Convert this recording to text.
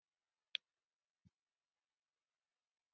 Eru þær orðnar smeykar?